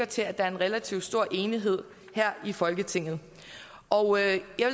til at der er en relativt stor enighed her i folketinget og jeg